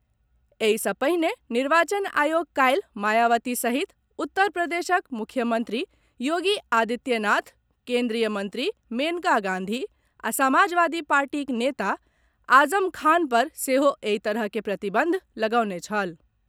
एहि सॅ पहिने निर्वाचन आयोग काल्हि मायावती सहित उत्तर प्रदेशक मुख्यमंत्री योगी आदित्यनाथ, केन्द्रीय मंत्री मेनका गांधी आ समाजवादी पार्टीक नेता आजम खान पर सेहो एहि तरह के प्रतिबंध लगौने छल।